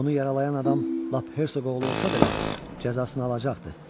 Onu yaralayan adam lap Hersoq oğlu olsa belə, cəzasını alacaqdı.